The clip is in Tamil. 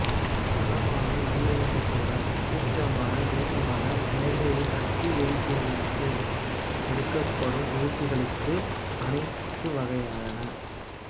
பலமான நல்லிணக்கத்துடன் சுபீட்சமான தேசமாக இலங்கையை கட்டியெழுப்புவதற்கு எடுக்கப்படும் முயற்சிகளுக்கு அனைத்துவகையான